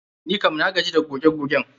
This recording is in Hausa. Nikam na gaji da goge gogen.